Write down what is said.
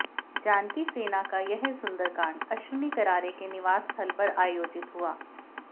जानकी सेना का यह सुंदरकांड अश्विनी करारे के निवास स्थल पर आयोजित हुआ